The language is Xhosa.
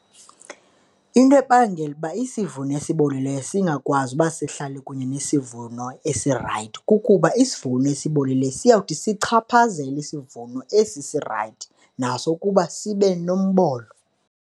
Into ebangela uba isivuno esibolileyo singakwazi uba sihlale kunye nesivuno esirayithi, kukuba isivuno esibolileyo siyawuthi sichaphazele isivuno esi sirayithi naso ukuba sibe nombolo.